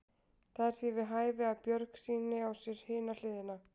Það er því við hæfi að Björg sýni á sér hina hliðina.